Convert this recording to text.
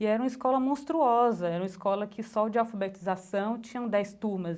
E era uma escola monstruosa, era uma escola que, só de alfabetização, tinham dez turmas.